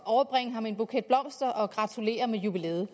at overbringe ham en buket blomster og gratulere med jubilæet